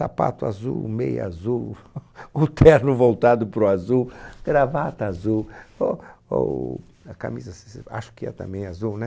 Sapato azul, meia azul, o terno voltado para o azul, gravata azul, o, o, a camisa assim se, acho que é também azul, né?